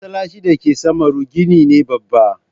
Masallacin da ke samaru gini ne babba.